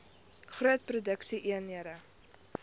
groot produksie eenhede